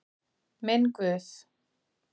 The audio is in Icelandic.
Minn Guð.